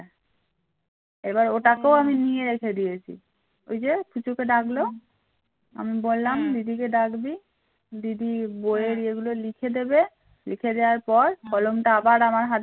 এবার ওটাকেও আমি নিয়ে রেখে দিয়েছি। ওই যে পুচুকে ডাকলো আমি বললাম দিদিকে ডাকবি দিদি বইয়ের এগুলো লিখে দিবে লিখে দেওয়ার পর কলমটা আবার আমার হাতে